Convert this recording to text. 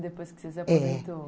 Depois que você se aposentou, é.